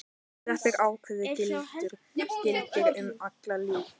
Þetta ákvæði gildir um alla, líka um börn.